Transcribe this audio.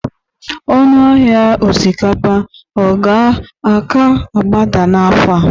ọnụ ahịa osikapa ka ọ ga-agbada n'afọ a?